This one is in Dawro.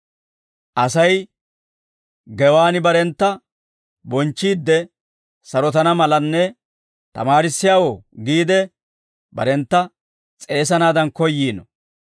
Asay gewaan barentta bonchchiidde sarotana malanne ‹Tamaarissiyaawoo› giide barentta s'eesanaadan koyyiino.